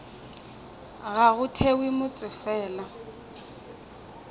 ga go thewe motse fela